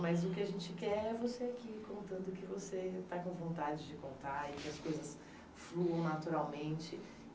Mas o que a gente quer é você aqui, contando o que você está com vontade de contar, e que as coisas fluam naturalmente.